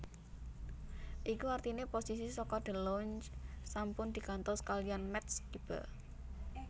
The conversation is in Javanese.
Iku artiné posisi saka DeLonge sampun diganthos kaliyan Matt Skiba